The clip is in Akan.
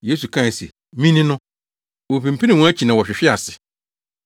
Yesu kae se, “Me ni” no, wopinpinii wɔn akyi na wɔhwehwee ase.